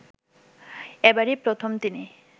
এবারই প্রথম তিনি